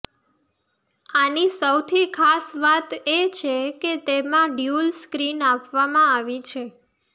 આની સૌથી ખાસ વાત એ છે કે તેમાં ડ્યુઅલ સ્ક્રીન આપવામાં આવી છે